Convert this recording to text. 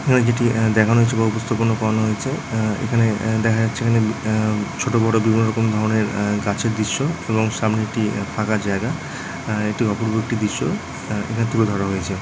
এখানে যেটি আহ দেখানো হয়েছে বা বুঝতে কোনো প্রব্লেম হয়েছে | আহ এখানে আহ দেখা যাচ্ছে এখানে আহ ছোট বড়ো বিভিন্ন ধরণের আহ গাছের দৃশ্য | সামনে একটা ফাঁকা জায়গা আহ এটি অপূর্ব একটি দৃশ্য | আহ এখানে তুলে ধরা হয়েছে।